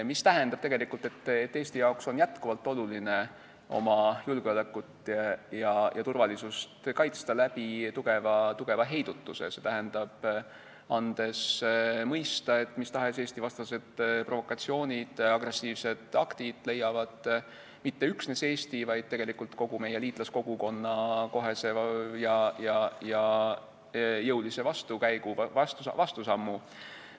See tähendab, et Eestile on jätkuvalt oluline kaitsta oma julgeolekut ja turvalisust tugeva heidutuse abil, st andes mõista, et mis tahes Eesti-vastased provokatsioonid ja agressiivsed aktid leiavad mitte üksnes Eesti, vaid tegelikult kogu meie liitlaskogukonna kohese ja jõulise vastusammu.